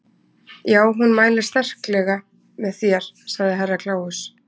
Já, hún mælir sterklega með þér, sagði Herra Kláus.